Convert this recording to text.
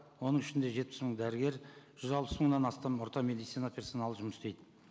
оның ішінде жетпіс мың дәрігер жүз алпыс мыңнан астам орта медицина персоналы жұмыс істейді